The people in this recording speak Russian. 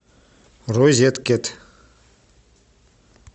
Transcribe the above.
розеткед